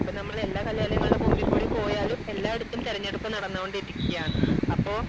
ഇപ്പൊ നമ്മൾ എല്ലാ കലാലയങ്ങളുടെ മുൻപിൽ കൂടി പോയാലും എല്ലായിടത്തും തിരഞ്ഞെടുപ്പ് നടന്നോണ്ടിരിക്കയാണ് അപ്പൊ